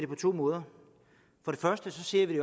på to måder først ser vi